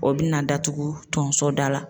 O bina datugu tonso da la.